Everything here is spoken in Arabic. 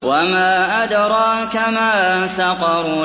وَمَا أَدْرَاكَ مَا سَقَرُ